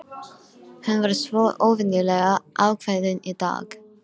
Hún var svo óvenjulega ákveðin í dag.